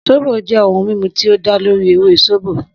Sóbò jẹ́ ohun mímu tí ó dá lórí ewé sóbò.